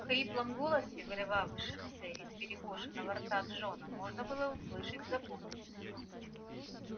в хриплом голосе вырывавшемся из перекошенного рта джона можно было услышать заботу